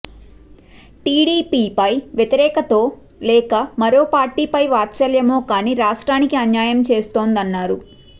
టీడీపీపై వ్యతిరేకతో లేక మరో పార్టీపై వాత్సల్యమో కానీ రాష్ట్రానికి అన్యాయం చేస్తోందన్నారు